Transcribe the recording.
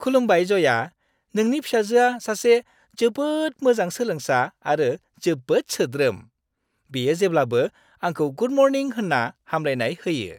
खुलुमबाइ जया, नोंनि फिसाजोआ सासे जोबोद मोजां सोलोंसा आरो जोबोद सोद्रोम। बियो जेब्लाबो आंखौ गुड मर्निं होन्ना हामग्लायनाय होयो।